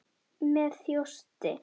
Með þjósti.